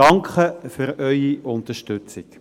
Danke für Ihre Unterstützung.